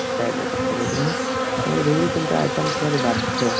ତାଙ୍କର ଦୁଇରୁ ତିନିଟା item ଥିବା ବାଧ୍ୟ